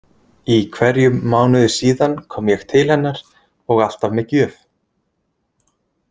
Í hverjum mánuði síðan kom ég til hennar og alltaf með gjöf.